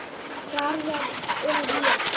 Garðar og ég